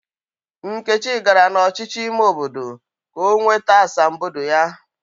Nkechi gara na ọchịchị ime obodo ka ọ nweta asambodo ya.